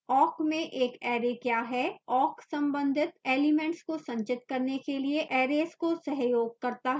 awk में एक array क्या है